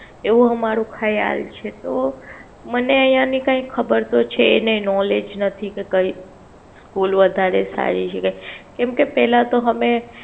એવું આમારું ખ્યાલ છે તો મને આઇયા કઈ ખબર તો છે નઈ Knowledge નથી કે કઈ School વધારે સારી છે કેમ કે પેલા તો અમે.